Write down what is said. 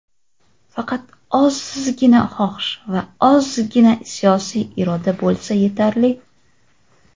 Faqat ozzzzgina xohish va ozzzzgina siyosiy iroda bo‘lsa yetarli.